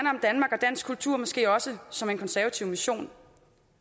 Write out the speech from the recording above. og dansk kultur måske også som en konservativ mission